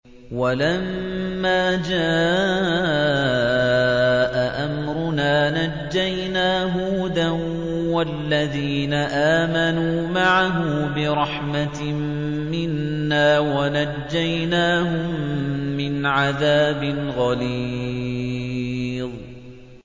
وَلَمَّا جَاءَ أَمْرُنَا نَجَّيْنَا هُودًا وَالَّذِينَ آمَنُوا مَعَهُ بِرَحْمَةٍ مِّنَّا وَنَجَّيْنَاهُم مِّنْ عَذَابٍ غَلِيظٍ